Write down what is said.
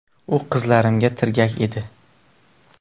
U qizlarimga tirgak edi.